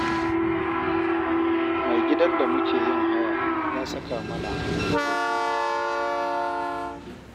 Mai gidan da muke yin haya ya saka mana dokoki